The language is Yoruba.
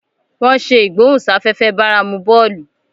wón ṣe igbohunsafefe báramu bóòlù.